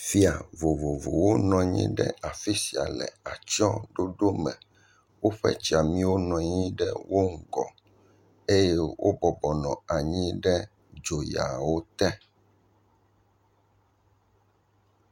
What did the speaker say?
Fia vovovowo nɔ anyi ɖe afi sia le atsɔɖoɖo tɔxɛ aɖe me. Woƒe tsiamiwo nɔ anyi ɖe wo ŋgɔ eye wo bɔbɔ nɔ anyi ɖe dzoyawo te.